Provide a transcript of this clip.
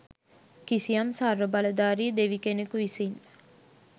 කිසියම් සර්ව බලධාරි දෙවි කෙනෙකු විසින්